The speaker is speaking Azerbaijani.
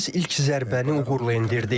Biz ilk zərbəni uğurla endirdik.